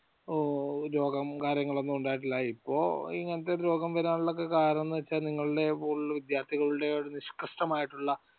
രോഗം കാര്യങ്ങൾ ഒന്നും ഉണ്ടായിട്ടില്ല. ഇപ്പോൾ ഇങ്ങനത്തെ രോഗങ്ങൾ വരാനുള്ള കാരണം എന്തെന്ന് വെച്ചാൽ നിങ്ങളുടെ കൂടെയുള്ള വിദ്യാർത്ഥികളുടെ നിഷ്കർഷമായിട്ടുള്ള